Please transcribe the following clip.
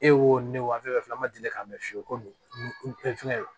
E wo ne wo an fɛn fɛn filɛ an ma deli k'a mɛn fiyewu ko fɛnkɛ